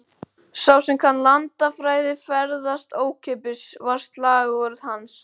Sá sem kann landafræði, ferðast ókeypis, var slagorð hans.